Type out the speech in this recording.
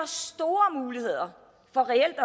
store muligheder for reelt at